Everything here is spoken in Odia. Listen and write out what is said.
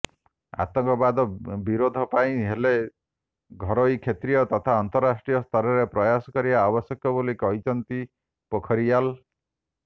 ଆତଙ୍କବାଦ ବିରୋଧ ପାଇଁ ହେଲେ ଘରୋଇ କ୍ଷତ୍ରୀୟ ତଥା ଅନ୍ତରାଷ୍ଟ୍ରୀୟ ସ୍ତରରେ ପ୍ରୟାସ କରିବା ଆବଶ୍ୟକ ବୋଲି କହିଛନ୍ତି ପୋଖରିୟାଲ୍